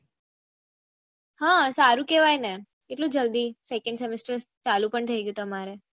હા સારું કેહવાય ને કેટલું જલ્દી સેકંડ સેમેસ્ટર ચાલુ પણ થઇ ગયું તમારે